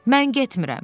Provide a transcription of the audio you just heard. Mən getmirəm.